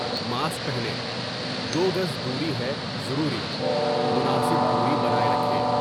Mask پہنے، دو گز دوری ہے ضروری مناسب دوری بناۓ رکھیں ۔